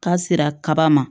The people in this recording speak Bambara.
K'a sera kaba ma